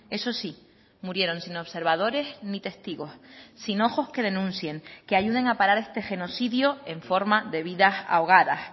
eso sí murieron sin observadores ni testigos sin ojos que denuncien que ayuden a parar este genocidio en forma de vidas ahogadas